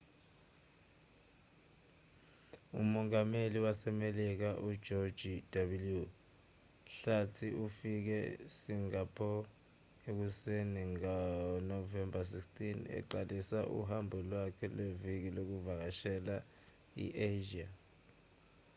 umongameli wasemelika ujoji w hlathi ufike esingapho ekuseni ngonovemba 16 eqalisa uhambo lwakhe lweviki lokuvakashela i-asia